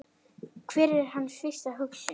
Hver er hans fyrsta hugsun?